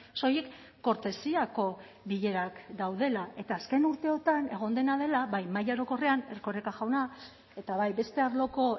soilik kortesiako bilerak daudela eta azken urteotan egon dena dela bai maila orokorrean erkoreka jauna eta bai beste arloko